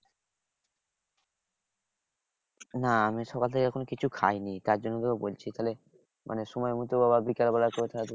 না আমি সকাল থেকে এখনও কিছু খাইনি তার জন্য তোকে বলছি তাহলে মানে সময় মতো আবার বিকেলবেলা করে তাহলে